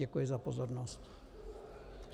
Děkuji za pozornost.